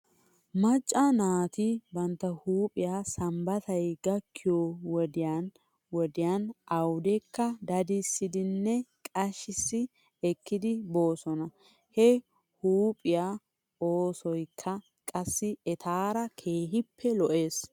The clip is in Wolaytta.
Macca naati bantta huuphphiyaa sambbatay gakkiyoo wodiyan wodiyan awdekka dadissidinne qashissi ekkedi boosona. He huuphiyaa oosoykka qassi etaara keehippe lo'es.